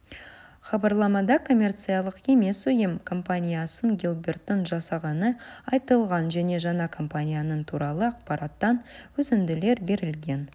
хабарламада коммерциялық емес ұйым компаниясын гилберттің жасағаны айтылған және жаңа компанияның туралы ақпараттан үзінділер берілген